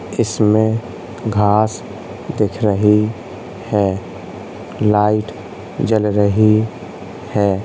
इसमें घास दिख रही है लाइट जल रही है।